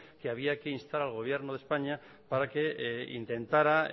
que había que instar al gobierno de españa para que intentara